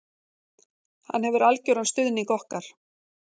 Hann hefur algjöran stuðning okkar